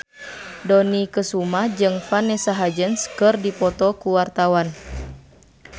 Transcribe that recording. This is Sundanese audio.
Dony Kesuma jeung Vanessa Hudgens keur dipoto ku wartawan